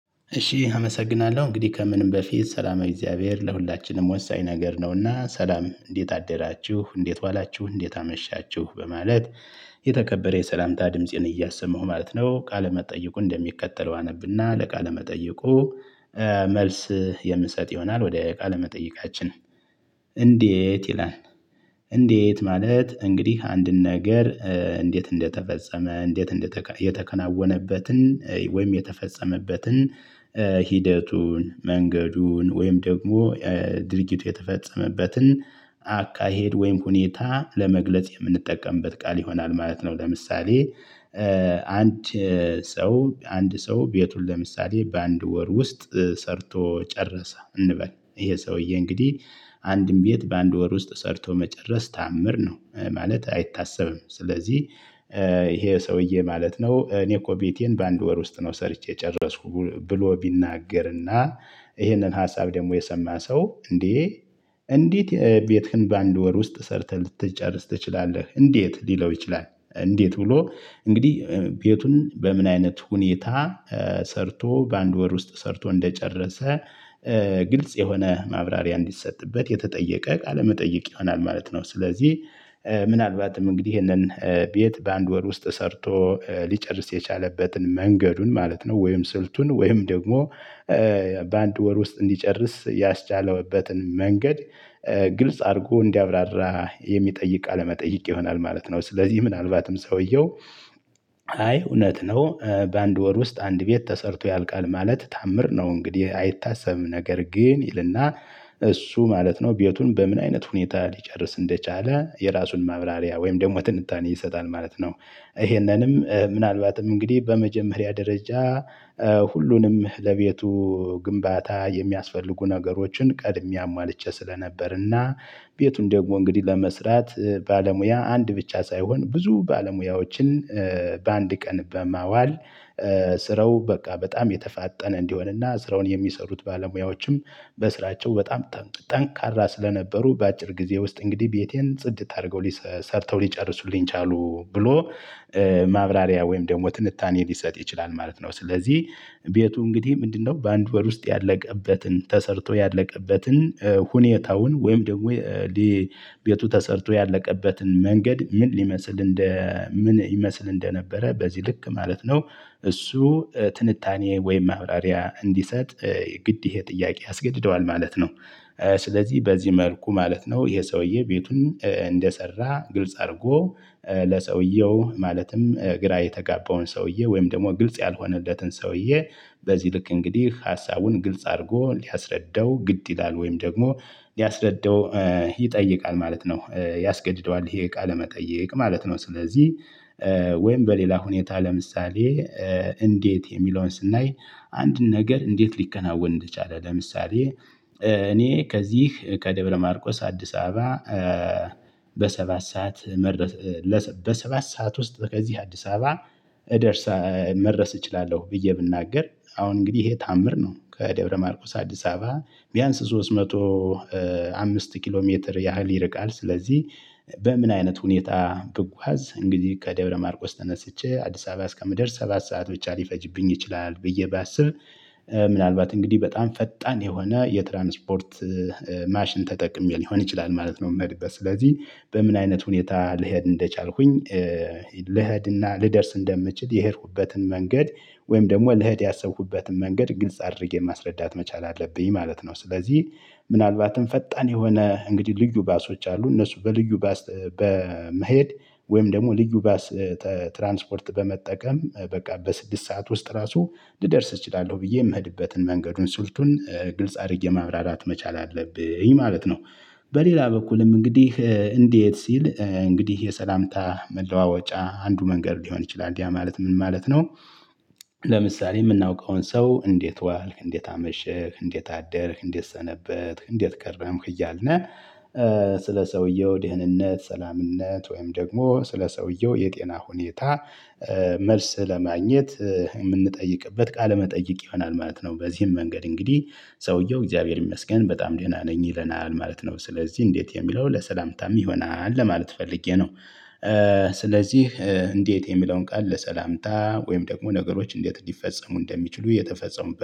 እሺ አመሰግናለሁ! እንግዲህ ከምንም በፊት ሰላማዊ እግዚአብሔር ለሁላችንም ወሳኝ ነገር ነውና ሰላም እንዴት አደራችሁ? እንዴት ዋላችሁ? እንዴት አመሻችሁ? በማለት የተከበረ የሰላምታ ድምፄን እያሰማሁ ማለት ነው። ቃለመጠየቁ እንደሚቀጥለው አነብና ለቃለመጠይቁ መልስ የምንሰጥ ይሆናል። ወደ ቃለመጠይቃችን መጠይቃችን። እንዴ? ይላል እንዴት ማለት እንግዲህ አንድን ነገር እንዴት እንደተፈጸመ። እንዴት እንደተከ የተከናወነበትን ወይም የተፈጸመበትን ሂደቱን መንገዱን ወይም ደግሞ ድርጊቱ የተፈጸመበትን አካሄድ ወይም ሁኔታ ለመግለጽ የምንጠቀምበት ቃል ይሆናል። ማለት ነው ለምሳሌ አንድ ሰው አንድ ሰው ቤቱን ለምሳሌ በአንድ ወር ውስጥ ሰርቶ ጨረሰ። እንበል ይሄ ሰውዬ እንግዲህ አንድም ቤት በአንድ ወር ውስጥ ሰርቶ መጨረስ ተአምር ነው ማለት አይታሰብም ስለዚህ ይሄ ሰውዬ ማለት ነው እኔ እኮ ቤቴን በአንድ ወር ውስጥ ነው ሰርቼ የጨረስኩ ብሎ ቢናገርና ይህንን ሀሳብ ደግሞ የሰማ ሰው እንዴ እንዴት ቤትህን በአንድ ወር ውስጥ ሰርተህ ልትጨርስ ትችላለ? እንዴት? ሊለው ይችላል። እንዴት ብሎ እንግዲህ ቤቱን በምን አይነት ሁኔታ ሰርቶ በአንድ ወር ውስጥ ሰርቶ እንደጨረሰ ግልጽ የሆነ ማብራሪያ እንዲሰጥበት የተጠየቀ ቃለ መጠየቅ ይሆናል። ማለት ነው ስለዚህ ምናልባትም እንግዲህ ይሄንን ቤት በአንድ ወር ውስጥ ሰርቶ ሊጨርስ የቻለበትን መንገዱን ማለት ነው ወይም ስልቱን ወይም ደግሞ በአንድ ወር ውስጥ እንዲጨርስ ያስቻለውበትን መንገድ ግልጽ አድርጎ እንዲያብራራ የሚጠይቅ አለመጠይቅ ይሆናል ማለት ነው። ስለዚህ ምናልባትም ሰውየው አይ እውነት ነው በአንድ ወር ውስጥ አንድ ቤት ተሰርቶ ያልቃል ማለት ተአምር ነው እንግዲህ አይታሰብም። ነገር ግን ይልና እሱ ማለት ነው ቤቱን በምን አይነት ሁኔታ ሊጨርስ እንደቻለ የራሱን ማብራሪያ ወይም ደግሞ ትንታኔ ይሰጣል። ማለት ነው ይሄንንም ምናልባትም እንግዲህ በመጀመሪያ ደረጃ ሁሉንም ለቤቱ ግንባታ የሚያስፈልጉ ነገሮችን ቀድሜ አሟልቼ ስለነበር እና ቤቱን ደግሞ እንግዲህ ለመስራት ባለሙያ አንድ ብቻ ሳይሆን ብዙ ባለሙያዎችን በአንድ ቀን በማዋል ስረው በቃ በጣም የተፋጠነ እንዲሆንና ስራውን የሚሰሩት ባለሙያዎችም በስራቸው በጣም ጠንካራ ስለነበሩ በአጭር ጊዜ ውስጥ እንግዲህ ቤቴን ጽድት አድርገው ሰርተው ሊጨርሱልኝ ቻሉ። ብሎ ማብራሪያ ወይም ደግሞ ትንታኔ ሊሰጥ ይችላል። ማለት ነው ስለዚህ ቤቱ እንግዲህ ምንድነው። በአንድ ወር ውስጥ ያለቀበትን ተሰርቶ ያለቀበትን ሁኔታውን ወይም ደግሞ ሌሊቱ ተሰርቶ ያለቀበትን መንገድ ምን ሊመስል እንደ ምን ይመስል እንደነበረ በዚህ ልክ ማለት ነው እሱ ትንታኔ ወይም ማብራሪያ እንዲሰጥ ግድ ይሄ ጥያቄ አስገድደዋል ማለት ነው። ስለዚህ በዚህ መልኩ ማለት ነው ይሄ ሰውዬ ቤቱን እንደሰራ ግልጽ አድርጎ ለሰውየው ማለትም ግራ የተጋበውን ሰውየው ወይም ደግሞ ግልጽ ያልሆነለትን ሰውየው በዚህ ልክ እንግዲህ ሀሳቡን ግልጽ አድርጎ ሊያስረዳው ግድ ይላል ወይም ደግሞ ሊያስረዳው ይጠይቃል። ማለት ነው ያስገድደዋል ይሄ እቃ ለመጠየቅ ማለት ነው ስለዚህ ወይም በሌላ ሁኔታ ለምሳሌ እንዴት? የሚለውን ስናይ አንድን ነገር እንዴት ሊከናወን እንደቻለ? ለምሳሌ እኔ ከዚህ ከደብረ ማርቆስ አዲስ አበባ በሰባት ሰዓት መርደስ በሰባት ሰዓት ውስጥ ከዚህ አዲስ አበባ እደርሳ መድረስ እችላለሁ። ብዬ ብናገር አሁን እንግዲህ ይሄ ታምር ነው። ከደብረ ማርቆስ አዲስ አበባ ቢያንስ ሶስት መቶ አምስት ኪሎ ሜትር ያህል ይርቃል። ስለዚህ በምን አይነት ሁኔታ ብጓዝ? እንግዲህ ከደብረ ማርቆስ ተነስቼ አዲስ አበባ እስከምደርስ ሰባት ሰዓት ብቻ ሊፈጅብኝ ይችላል። ብዬ ባስብ ምናልባት እንግዲህ በጣም ፈጣን የሆነ የትራንስፖርት ማሽን ተጠቅሜ ሊሆን ይችላል። ማለት ነው የምሄድበት ስለዚህ በምን አይነት ሁኔታ ልሄድ እንደቻልኩኝ? ልሄድና ልደርስ እንደምችል የሄድኩበትን መንገድ ወይም ደግሞ ልህድ ያሰብኩበትን መንገድ ግልጽ አድርጌ ማስረዳት መቻል አለብኝ። ማለት ነው ስለዚህ ምናልባትም ፈጣን የሆነ እንግዲህ ልዩ ባሶች አሉ። እነሱ በልዩ ባስ በመሄድ ወይም ደግሞ ልዩ ባስ ትራንስፖርት በመጠቀም በቃ በስድስት ሰዓት ውስጥ ራሱ ልደርስ እችላለሁ። ብዬ የምሄድበትን መንገዱን ስልቱን ግልጽ አድርጌ ማብራራት መቻል አለብኝ። ማለት ነው በሌላ በኩልም እንግዲህ እንዴት ሲል እንግዲህ የሰላምታ መለዋወጫ አንዱ መንገድ ሊሆን ይችላል። እንዲህ ማለት ምን ማለት ነው? ለምሳሌ የምናውቀውን ሰው እንዴት ዋልክ? እንዴት አመሸህ? እንዴት አደርህ? እንዴት ሰነበትክ? እንዴት ከረምክ? እያልን ስለ ሰውየው ድህንነት ሰላምነት ወይም ደግሞ ስለ ሰውየው የጤና ሁኔታ መልስ ለማግኘት የምንጠይቅበት ቃለመጠይቅ ይሆናል። ማለት ነው በዚህም መንገድ እንግዲህ ሰውየው እግዚአብሔር ይመስገን። በጣም ድህና ነኝ ይለናል። ማለት ነው ስለዚህ እንዴት? የሚለው ለሰላምታም ይሆናል። ለማለት ፈልጌ ነው ስለዚህ እንዴት የሚለውን ቃል ለሰላምታ ወይም ደግሞ ነገሮች እንዴት ሊፈጸሙ እንደሚችሉ የተፈጸሙበት